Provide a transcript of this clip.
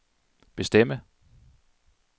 bestemme